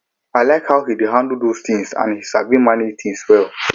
i like how he dey handle those things and he sabi manage things well